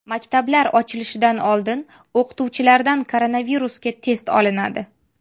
Maktablar ochilishidan oldin o‘qituvchilardan koronavirusga test olinadi.